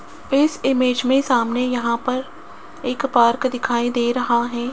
इस इमेज मे सामने यहां पर एक पार्क दिखाई दे रहा है।